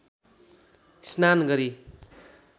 स्नान गरी